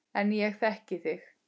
En ég þekki þig.